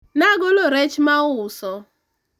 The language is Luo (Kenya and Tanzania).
nagolo rech mauso